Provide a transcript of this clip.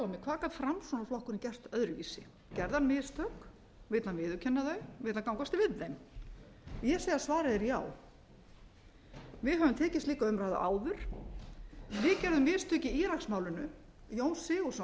hvað gat framsóknarflokkurinn gert öðruvísi gerði hann mistök vill hann viðurkenna þau vill hann gangast við þeim ég segi að svarið sé já við höfum tekið slíka umræðu áður við gerðum mistök í íraksmálinu jón sigurðsson